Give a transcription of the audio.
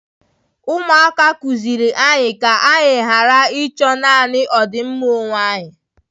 Ụmụaka kụziiri anyị ka anyị ghara ịchọ naanị ọdịmma onwe anyị.